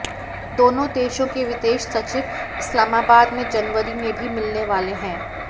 दोनों देशों के विदेश सचिव इस्लामाबाद में जनवरी में भी मिलने वाले हैं